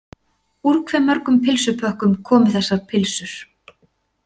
Úr hve mörgum pylsupökkum komu þessar pylsur.